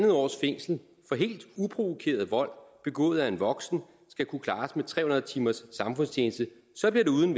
års fængsel for helt uprovokeret vold begået af en voksen skal kunne klares med tre hundrede timers samfundstjeneste så bliver det uden